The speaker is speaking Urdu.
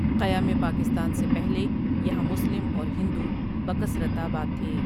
قیام پاکستان سے پہلٕے یہاں مسلم اور ہندو بکثرت آباد تھے ۔